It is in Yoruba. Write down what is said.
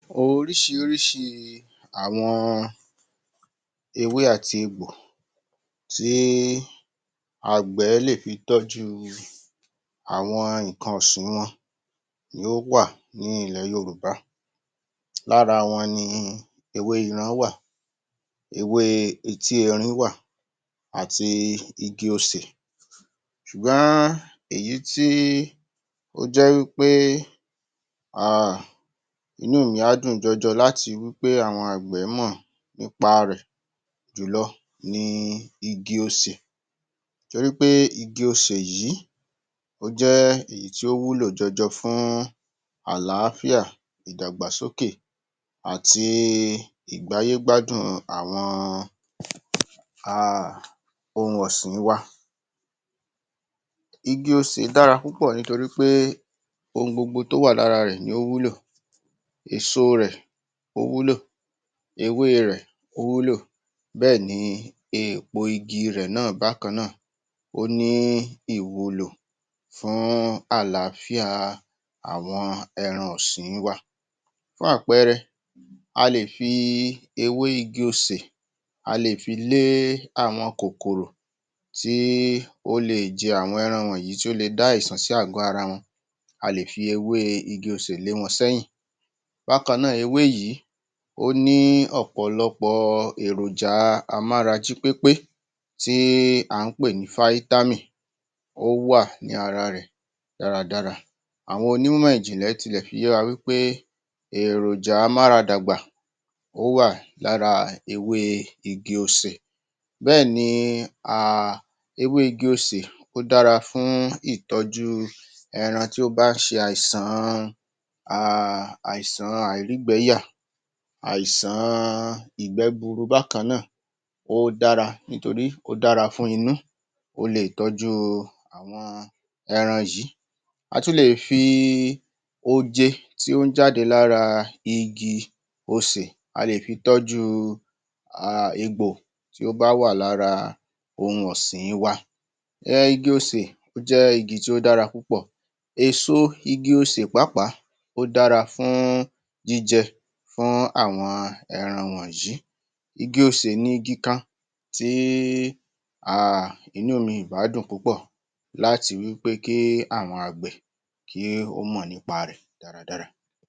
oríṣiríṣi àwọn ewé àti egbò tí àgbẹ̀ lé fi tọ́jú àwọn nǹkan ọ̀sìn wọn ló wà ní ilẹ̀ Yorùbá Lára wọn ni ewé iran wà ewé etí erin wà àti igi osè ṣùgbọ́n èyí tí ó jẹ́ wí pé um inú mi á dùn jọjọ láti wí pé àwọn àgbẹ̀ mọ nípa rẹ̀ jùlọ ni igi osè torípé igi osè yìí ó jẹ́ èyí tí ó wúlò jọjọ fún àlááfíà ìdàgbàsókè àti ìgbáyé gbádùn àwọn um ohun ọ̀sìn wa igi osè dára púpọ̀ nítorí pé ohun gbogbo tí ó wà lára rẹ̀ ni ó wúlò èso rẹ̀, ó wúlò ewé rẹ̀, ó wúlò Bẹ́ẹ̀ ni èpo igi rẹ̀ náà bákan náà ó ní ìwúlò fún àlááfíà àwọn ẹran ọ̀sìn wa Fún àpẹẹrẹ a lè fi ewé igi osè a lè fi lé àwọn kòkòrò tí ó le jẹ àwọn ẹran wọnyìí, tí ó le dá àìsàn sí àgọ ara wọn A lè fi ewé igi osè lé wọn sẹ́yìn Bákan náà, ewé yìí ó ní ọ̀pọ̀lọpọ̀ èròjà amára-jí-pépé tí à ń pè ní fáítámìn ó wà ní ara rẹ̀ dáradára àwọn onímọ̀ ìjìnlẹ̀ tilẹ̀ fi yé wa wí pé èròjà amúaradàgbà ó wà lára ewé igi osè Bẹ́ẹ̀ni um ewé igi osè ó dára fún ìtọ́jú ẹran tí ó bá ṣe àìsàn-an um àìsàn àìrígbẹ́yà àìsàn ìgbẹ́ gburu bákaná ó dára, nítorí ó dára fún inú ó le tọ́jú inú àwọn ẹran yìí a tún le fi i oje tí ó ń jáde lára igi osè a lè fi tọ́jú um egbò tí ó bà wà lára ohun ọ̀sìn wa um igi osè, ó jẹ́ igi tí ó dára púpọ̀ èso igi osè pàápàá ó dára fún jíjẹ, fún àwọn ẹran wonyìí igi osè ni igi kan tí í um inú mi ìbá dùn púpọ̀ láti wí pé kí àwọn àgbè kí ó mọ̀ nípa rẹ̀ dáradára